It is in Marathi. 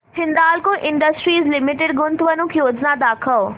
हिंदाल्को इंडस्ट्रीज लिमिटेड गुंतवणूक योजना दाखव